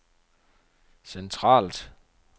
centralt